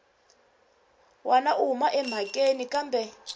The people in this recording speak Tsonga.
wana u huma emhakeni kambe